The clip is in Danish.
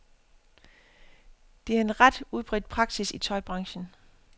Det er en ret udbredt praksis i tøjbranchen.